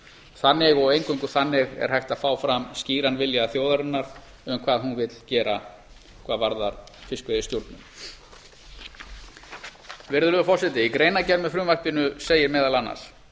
þannig og eingöngu þannig er hægt að fá fram skýran vilja þjóðarinnar um hvað hún vill gera hvað varðar fiskveiðistjórn virðulegi forseti í greinargerð með frumvarpinu segir meðal annars